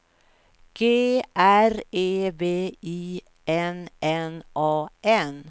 G R E V I N N A N